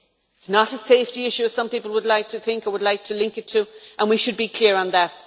It is not a safety issue, as some people would like to think or would like to link it to, and we should be clear on that.